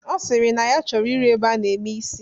Ọ sịrị na ya chọrọ ịrụ ebe a na-eme isi